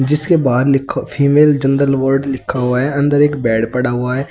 जिसके बाहर लिखा फीमेल जनरल वार्ड लिखा हुआ है अंदर एक बेड पड़ा हुआ है।